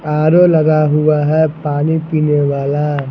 RO लगा हुआ है पानी पीने वाला।